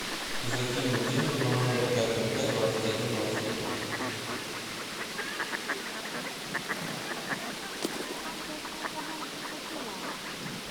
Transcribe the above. закинуть деньги на номер пять пять пять двадцать один двадцать один